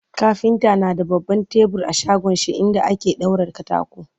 kafinta na da baban tebur a shagonshi inda ake daura katako